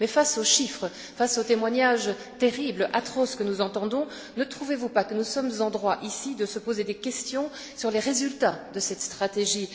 Mais face aux chiffres, face aux témoignages terribles, atroces, que nous entendons, ne trouvez vous pas que nous sommes en droit, ici, de nous poser des questions sur les résultats de cette stratégie?